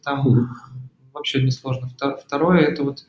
потому вообще не сложно второе это вот